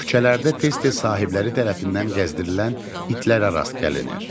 Küçələrdə tez-tez sahibləri tərəfindən gəzdirilən itlərə rast gəlinir.